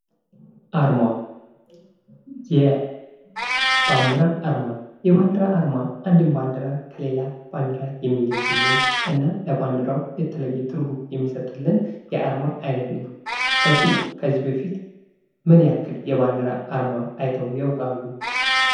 አርማ የባንዲራ አርማ የባንዲራ አርማ አንድን ባንዲራ ከሌላ ባንዲራ የሚለይልን እና ለባንዲራው የተለየ ትርጉም የሚሰጥልን የአርማ አይነት ነው እርሶ ከዚህ በፊት ምን ያክል የባንዲራ አርማ አይተው ያውቃሉ?